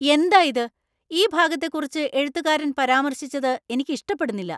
എന്തായിത്? ഈ ഭാഗത്തെക്കുറിച്ച് എഴുത്തുകാരന്‍ പരാമർശിച്ചത് എനിക്ക് ഇഷ്ടപ്പെടുന്നില്ല.